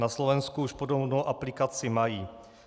Na Slovensku už podobnou aplikaci mají.